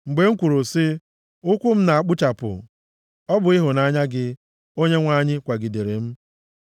Mgbe m kwuru sị, “Ụkwụ m na-agbuchapụ,” ọ bụ ịhụnanya gị, O Onyenwe anyị, kwagidere m.